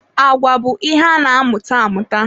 Agwa bụ ihe ana-amụta amụta.